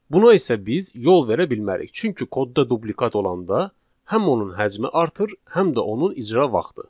Buna isə biz yol verə bilmərik, çünki kodda dublikat olanda həm onun həcmi artır, həm də onun icra vaxtı.